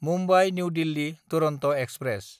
Mumbai New Delhi Duronto express